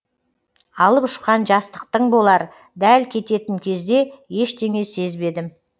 алып ұшқан жастықтың болар дәл кететін кезде ештеңе сезбедім